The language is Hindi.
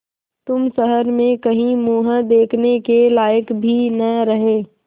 तुम शहर में कहीं मुँह दिखाने के लायक भी न रहे